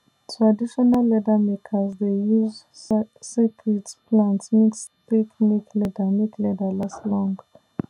traditional leather makers dey use secret plant mix take make leather make leather last long